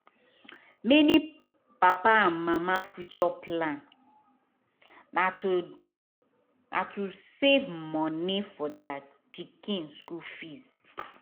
many papa and mama future plan na to na to safe moni for deir pikin school fees